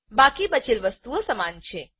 બાકી બચેલ વસ્તુઓ સમાન છે